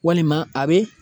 Walima a bɛ